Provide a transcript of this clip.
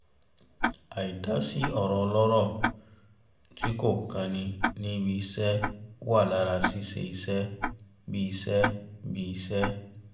àì dá sí ọ̀rọ̀ ọlọ́rọ̀ tí kò kan ni ní ibi-iṣẹ́ wà lára ṣíṣe iṣẹ́ bí i iṣẹ́ bí i iṣẹ́